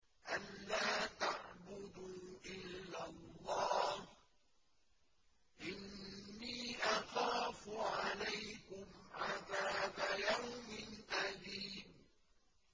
أَن لَّا تَعْبُدُوا إِلَّا اللَّهَ ۖ إِنِّي أَخَافُ عَلَيْكُمْ عَذَابَ يَوْمٍ أَلِيمٍ